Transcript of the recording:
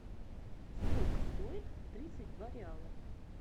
сколько стоит тридцать два реала